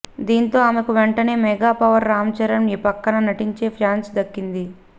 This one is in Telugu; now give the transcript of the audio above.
దీంతో ఆమెకు వెంటనే మెగా పవర్ రామ్ చరణ్ పక్కన నటించే ఛాన్స్ దక్కింది